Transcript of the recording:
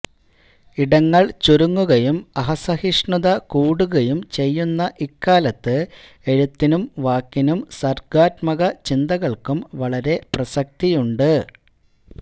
ഇടങ്ങൾ ചുരുങ്ങുകയും അസഹിഷ്ണുത കൂടുകയും ചെയ്യുന്ന ഇക്കാലത്ത് എഴുത്തിനും വാക്കിനും സർഗാത്മകചിന്തകൾക്കും വളരെ പ്രസക്തിയുണ്ട്